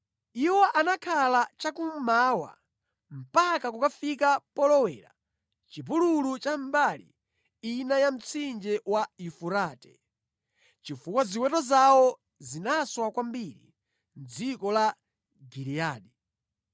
Iwo anakhala cha kummawa mpaka kukafika polowera mʼchipululu cha mbali ina ya Mtsinje wa Yufurate, chifukwa ziweto zawo zinaswana kwambiri mʼdziko la Giliyadi.